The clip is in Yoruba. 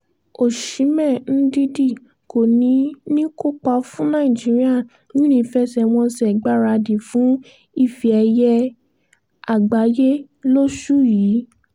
os îhén ndidi kò níí níí kópa fún nàìjíríà nínú ìfẹsẹ̀wọnsẹ̀ ìgbáradì fún ife ẹ̀yẹ àgbáyé lóṣù yí